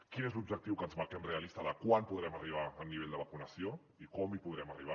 quin és l’objectiu que ens marquem realista de quan podrem arribar al nivell de vacunació i com hi podrem arribar